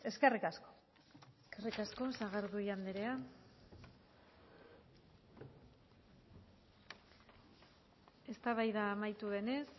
eskerrik asko eskerrik asko sagardui andrea eztabaida amaitu denez